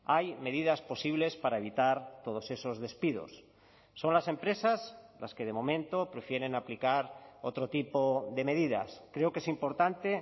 hay medidas posibles para evitar todos esos despidos son las empresas las que de momento prefieren aplicar otro tipo de medidas creo que es importante